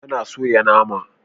An soya nama.